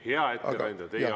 Hea ettekandja, teie aeg!